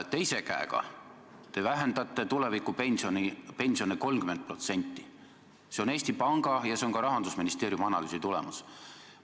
Teise käega te vähendate tulevikupensione 30%, nagu näitab Eesti Panga ja ka Rahandusministeeriumi analüüsi tulemus.